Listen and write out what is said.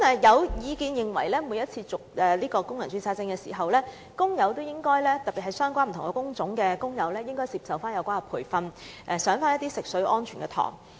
有意見認為，政府應要求不同工種的工人每次為工人註冊證續期時，應接受相關培訓及修讀有關食水安全的課程。